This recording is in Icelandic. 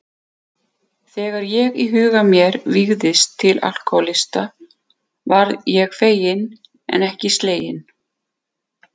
Þegar ég í huga mér vígðist til alkohólista varð ég feginn en ekki sleginn.